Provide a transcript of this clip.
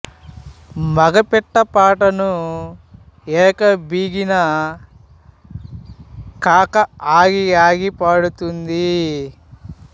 మగ పిట్ట పాటను ఏక బిగిన కాక ఆగిఆగి పాడుతుంది